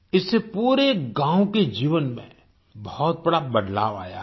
इससे पूरे गाँव के जीवन में बहुत बड़ा बदलाव आया है